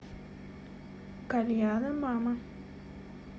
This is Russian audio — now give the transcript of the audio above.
кальяна мама